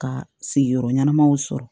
Ka sigiyɔrɔ ɲɛnamaw sɔrɔ